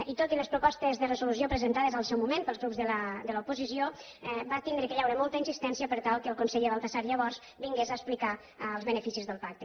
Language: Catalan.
i tot i les propostes de resolució presentades al seu moment pels grups de l’oposició va haver d’haver hi molta insistència per tal que el conseller baltasar llavors vingués a explicar els beneficis del pacte